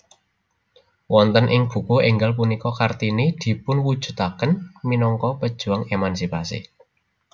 Wonten ing buku énggal punika Kartini dipunwujudaken minangka pejuang emansipasi